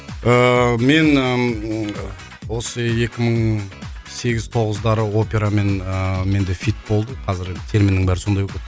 ііі мен ммм осы екі мың сегіз тоғыздары операмен ыыы менде хит болды қазіргі терминнің бәрі сондай болып кетті